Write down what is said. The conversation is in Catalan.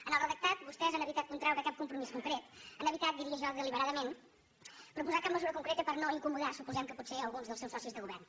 en el redactat vostès han evitat contraure cap compromís concret han evitat diria jo deliberadament proposar cap mesura concreta per no incomodar suposem que potser a alguns dels seus socis de govern